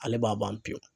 Ale b'a ban pewu